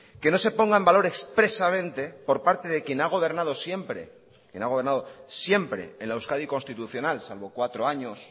no se ponga en valor expresamente por parte de quien ha gobernado siempre en la euskadi constitucional salvo cuatro años